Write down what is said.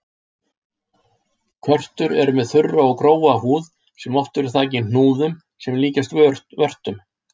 Körtur eru með þurra og grófa húð sem oft er þakin hnúðum sem líkjast vörtum.